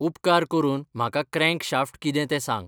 उपकार करून म्हाका क्रँकशॅफ्ट कितें तें सांग